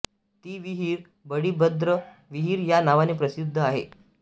ती विहीर बळीभद्र विहीर या नावाने प्रसिद्ध आहे